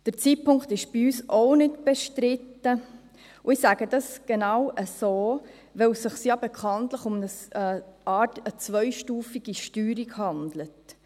Der Zeitpunkt ist bei uns auch nicht bestritten, und ich sage dies genau so, weil es sich ja bekanntlich um eine Art zweistufige Steuerung handelt.